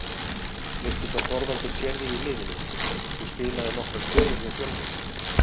Veistu hvar Þorvaldur sér þig í liðinu, þú spilaðir nokkrar stöður hjá Fjölni?